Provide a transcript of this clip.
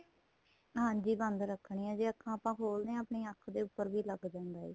ਹਾਂਜੀ ਬੰਦ ਰੱਖਣੀਆਂ ਜੇ ਅੱਖਾ ਆਪਾਂ ਖੋਲਦੇ ਆਂ ਤੇ ਆਪਣੀ ਅੱਖ ਦੇ ਉੱਪਰ ਲੱਗ ਜਾਂਦਾ ਏ